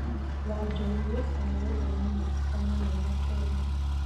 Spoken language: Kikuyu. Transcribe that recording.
Wanjogu gũcagũrwo mĩnĩcita mũnene Kenya.